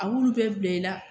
A b'ulu bɛɛ bila i la.